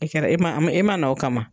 E kɛra e man e man o kama.